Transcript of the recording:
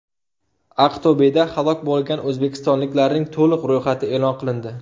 Aqto‘beda halok bo‘lgan o‘zbekistonliklarning to‘liq ro‘yxati e’lon qilindi.